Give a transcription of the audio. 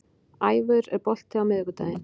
Ævör, er bolti á miðvikudaginn?